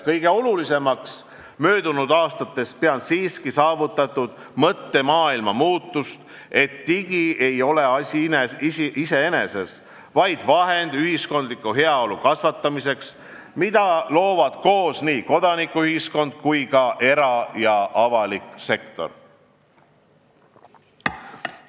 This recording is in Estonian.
Kõige olulisemaks möödunud aastatel pean siiski saavutatud mõttemaailma muutust, et digi ei ole asi iseeneses, vaid vahend kasvatada ühiskondlikku heaolu, mida loovad koos nii kodanikuühiskond kui ka era- ja avasektor.